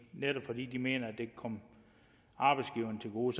netop fordi de mener det kan komme arbejdsgiverne til gode